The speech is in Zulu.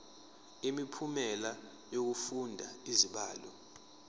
imiphumela yokufunda izibalo